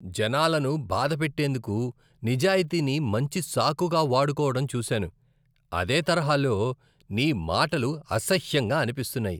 జనాలను బాధపెట్టేందుకు నిజాయితీని మంచి సాకుగా వాడుకోవడం చూశాను, అదే తరహాలో, నీ మాటలు అసహ్యంగా అనిపిస్తున్నాయి.